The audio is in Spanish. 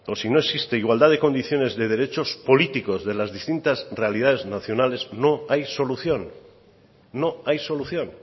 si no existe igualdad de condiciones de derechos políticos de las distintas realidades nacionales no hay solución no hay solución